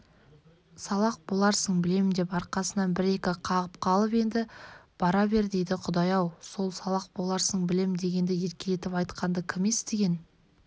салақ боларсың білем деп арқасына бір-екі қағып қалып енді бара бер дейді құдай-ау сол салақ боларсың білем дегенді еркелетіп айтқанды кім естіген